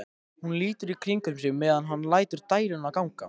Hún lítur í kringum sig meðan hann lætur dæluna ganga.